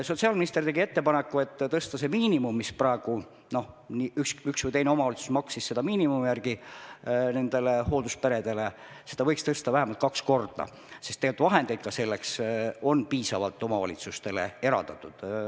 Sotsiaalminister tegi ettepaneku tõsta seda miinimumi, mis praegu üks või teine omavalitsus on maksnud hooldusperedele, vähemalt kaks korda, sest vahendeid ka selleks on omavalitsustele piisavalt eraldatud.